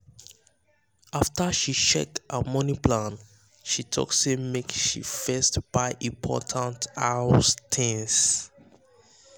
after she check her money plan she um talk say make she um first buy important house things.